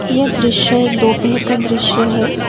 यह दृश्य एक दोपहर का दृश्य है।